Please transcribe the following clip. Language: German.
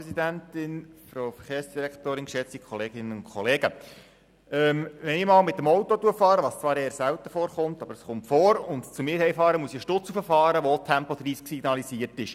Wenn ich zwischendurch mit dem Auto unterwegs bin – was zwar eher selten vorkommt, aber es kommt vor – und zu mir nach Hause fahre, muss ich eine Strasse hochfahren, auf der auch Tempo 30 signalisiert ist.